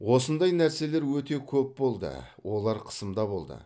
осындай нәрселер өте көп болды олар қысымда болды